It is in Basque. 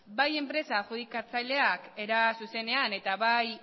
bai enpresa adjudikatzaileak era zuzenean eta bai